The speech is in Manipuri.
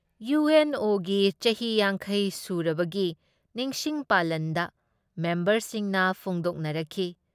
ꯏꯌꯨ ꯑꯦꯟ ꯑꯣꯒꯤ ꯆꯍꯤ ꯌꯥꯡꯈꯩ ꯁꯨꯔꯕꯒꯤ ꯅꯤꯡꯁꯤꯡ ꯄꯥꯂꯟꯗ ꯃꯦꯝꯕꯔꯁꯤꯡꯅ ꯐꯣꯡꯗꯣꯛꯅꯔꯛꯈꯤ